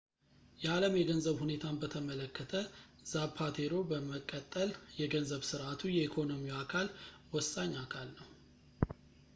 የዓለም የገንዘብ ሁኔታን በተመለከተ ዛፓቴሮ በመቀጠል የገንዘብ ሥርዓቱ የኢኮኖሚው አካል ወሳኝ አካል ነው